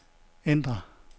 ændr